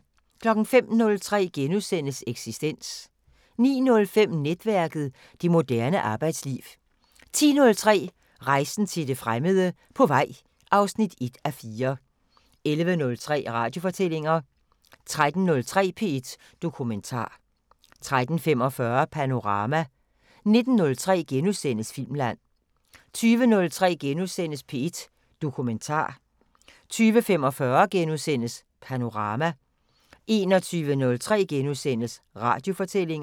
05:03: Eksistens * 09:05: Netværket: Det moderne arbejdsliv 10:03: Rejsen til det fremmede: På vej (1:4) 11:03: Radiofortællinger 13:03: P1 Dokumentar 13:45: Panorama 19:03: Filmland * 20:03: P1 Dokumentar * 20:45: Panorama * 21:03: Radiofortællinger *